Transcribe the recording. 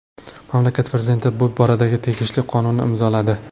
Mamlakat prezidenti bu boradagi tegishli qonunni imzoladi.